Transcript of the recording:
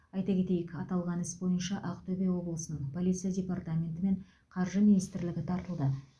айта кетейік аталған іс бойынша ақтөбе облысының полиция департаменті мен қаржы министрлігі тартылды